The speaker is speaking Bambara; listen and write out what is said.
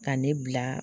Ka ne bila